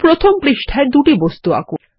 প্রথম পৃষ্ঠায় দুটি বস্তু আঁকুন